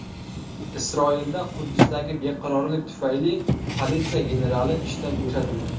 Isroilda Quddusdagi beqarorlik tufayli politsiya generali ishdan bo‘shatildi.